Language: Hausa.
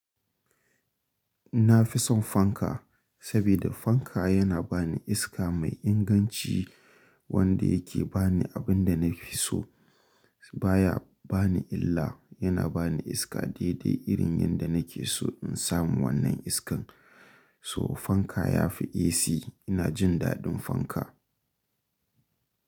Na fi son fanka sabida fanka yana ba ni iska mai inganci wanda yake ba ni abin da na fi so baya ba ni illa. Yana ba ni iska daidai irin yanda nake so in samu wannan iskan. So fanka ya fi AC. Ina jin daɗin fanka.